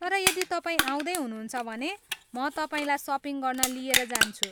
तर यदि तपाईँ आउँदै हुनुहुन्छ भने, म तपाईँलाई सपिङ गर्न लिएर जान्छु।